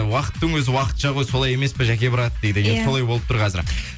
уақыттың өзі уақытша ғой солай емес пе жәке брат дейді иә солай болып тұр қазір